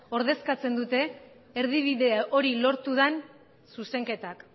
ordezkatzen dute erdibide hori lortu den zuzenketak